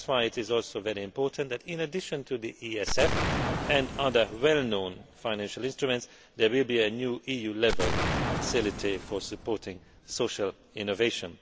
That is why it is also very important that, in addition to the ESF and other well known financial instruments, there will be a new EU level facility for supporting social innovation.